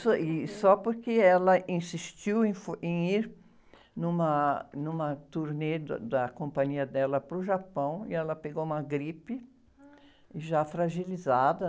Isso, e só porque ela insistiu em, em ir numa, numa turnê da, da companhia dela para o Japão e ela pegou uma gripe já fragilizada.